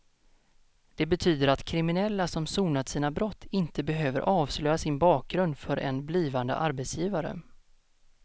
Det betyder att kriminella som sonat sina brott inte behöver avslöja sin bakgrund för en blivande arbetsgivare.